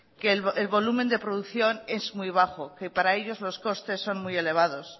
que el volumen de producción es muy bajo que para ellos los costes son muy elevados